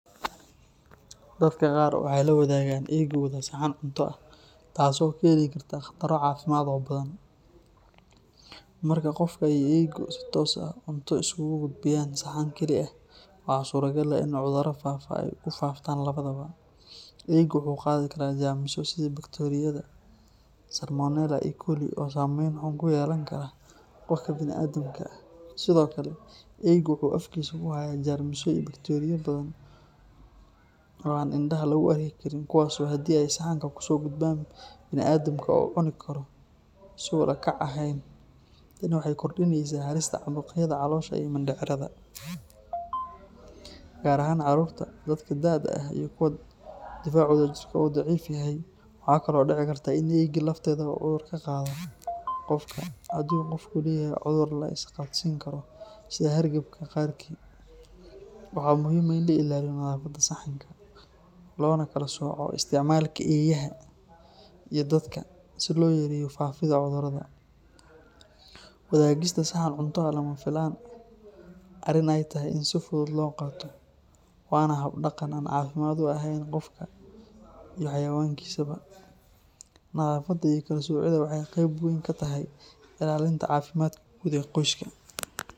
Dadka qaar waxay la wadaagaan eygooda saxan cunto ah, taasoo keeni karta khataro caafimaad oo badan. Marka qofka iyo eygu ay si toos ah cunto isugu gudbiyaan saxan keli ah, waxaa suuragal ah in cudurro faafa ay ku faaftaan labadaba. Eygu wuxuu qaadi karaa jeermisyo sida bakteeriyada Salmonella ama E. coli oo saameyn xun ku yeelan kara qofka bini’aadamka ah. Sidoo kale, eygu wuxuu afkiisa ku hayaa jeermisyo iyo bakteeriyo badan oo aan indhaha lagu arki karin kuwaasoo haddii ay saxanka kusoo gudbaan bini’aadamka uu cuni karo si aan ula kac ahayn. Tani waxay kordhinaysaa halista caabuqyada caloosha iyo mindhicirada, gaar ahaan carruurta, dadka da’da ah, iyo kuwa difaacooda jirka uu daciif yahay. Waxaa kaloo dhici karta in eygii lafteeda uu cudur ka qaado qofka haddii qofku leeyahay cudur la isqaadsiin karo sida hargabka qaarkii. Waxaa muhiim ah in la ilaaliyo nadaafadda saxanka, loona kala sooco isticmaalka eeyaha iyo dadka si loo yareeyo faafidda cudurrada. Wadaagista saxan cunto ah lama aha arrin ay tahay in si fudud loo qaato, waana hab dhaqan aan caafimaad u ahayn qofka iyo xayawaankiisaba. Nadaafadda iyo kala soocidda waxay qeyb weyn ka tahay ilaalinta caafimaadka guud ee qoyska.